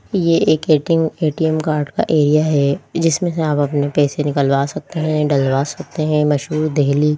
ये एक ATM card का एरिया है जिसमें से आप अपने पैसे निकलवा सकते हैं डलवा सकते हैं मशहूर देहली --